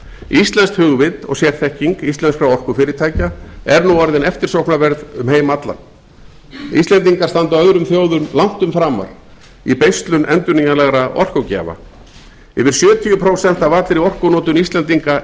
íslenskt hugvit og sérþekking íslenskra orkufyrirtækja er nú orðin eftirsóknarverð um heim allan íslendingar standa öðrum þjóðum langtum framar í beislun endurnýjanlegra orkugjafa yfir sjötíu prósent af allri orkunotkun íslendinga